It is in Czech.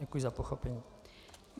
Děkuji za pochopení.